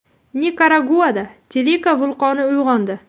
Nikaraguada Telika vulqoni uyg‘ondi.